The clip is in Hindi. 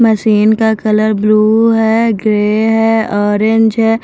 मशीन का कलर ब्लू है ग्रे है ऑरेंज है।